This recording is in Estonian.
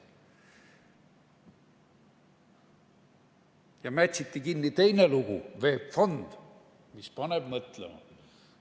Mätsiti kinni teine lugu, VEB Fond, mis paneb mõtlema.